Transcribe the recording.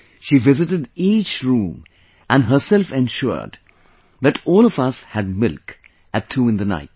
She visited each room and herself ensured that all of us had milk at 2 in the night